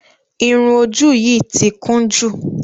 Irun ojú yìí ti kún jù.